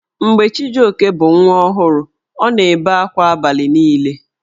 Mgbe Chijioke bụ nwa ọhụrụ, ọ na-ebe akwa abalị niile.